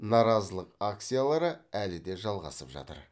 наразылық акциялары әлі де жалғасып жатыр